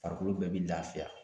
Farikolo bɛɛ bɛ lafiya